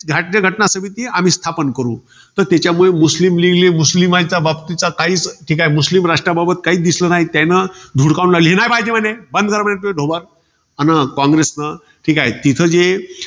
राज्यघटना समिती आम्ही स्थापन करू. तर त्यामुळे, मुस्लीम league ले मुस्लीम आहेत. त्याबाबतीचा मुस्लीम राष्ट्राबाबत काहीच दिसलं नाही. त्यानं धुडकावून लावली. हे नाही पाहिजे म्हणे, बंद करा पहिले ढोबार. अन कॉंग्रेसन ठीकाय. तिथं जे,